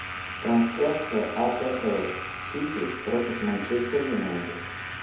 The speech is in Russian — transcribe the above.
трансляция апл сити против манчестер юнайтед